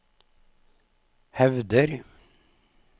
hevder